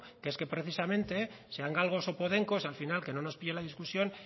que es que precisamente sean galgos o podencos al final que no nos pille la discusión